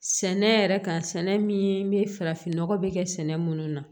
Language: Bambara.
Sɛnɛ yɛrɛ kan sɛnɛ min be farafin nɔgɔ be kɛ sɛnɛ minnu na